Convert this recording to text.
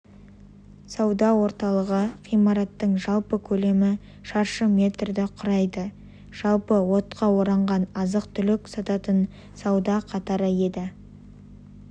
сауда орталығы ғимараттың жалпы көлемі шаршы метрді құрайды жалпы отқа оранған азық-түлік сататын сауда қатары еді